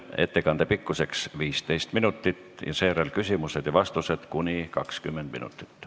Ettekande pikkus on 15 minutit ja seejärel on 20 minutit küsimusi ja vastuseid.